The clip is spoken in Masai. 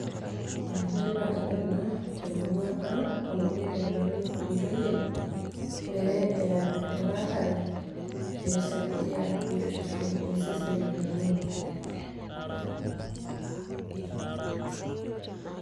enetipat ena temurua ang' amu kelikini ntoyie pee epal esiai emuratere amu kisaidia iseseni lenye.